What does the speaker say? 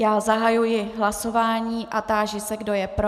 Já zahajuji hlasování a táži se, kdo je pro.